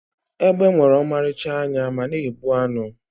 egbe nwere ọmarịcha anya ma na-egbu anụ